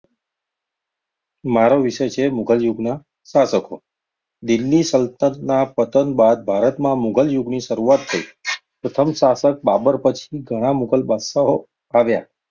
મારો વિષય છે મુધલયુગ નો શાસકો દિલ્લી સલ્તનટત ના પતન બાદ ભારત માં મુધલ યુગનિ શરુઆત થીઈ. પ્રથમ શાસક બાબર પછી ધાણા મુધલ બાદશાહો આવ્યા.